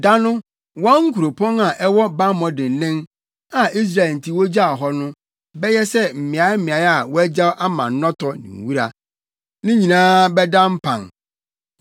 Da no wɔn nkuropɔn a ɛwɔ bammɔ dennen, a Israelfo nti wogyaw hɔ no, bɛyɛ sɛ mmeaemmeae a wɔagyaw ama nnɔtɔ ne nwura. Ne nyinaa bɛda mpan.